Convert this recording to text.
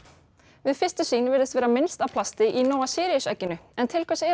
við fyrstu sýn virðist vera minnst plast í Nóa Síríus egginu en til hvers er